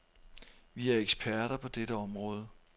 Vi er eksperter på dette område.